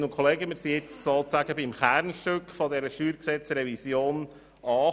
Wir sind nun sozusagen beim Kernstück dieser StG-Revision angelangt.